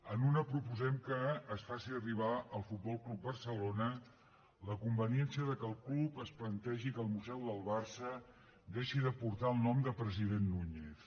en una proposem que es faci arribar al futbol club barcelona la conveniència que el club es plantegi que el museu del barça deixi de portar el nom de president núñez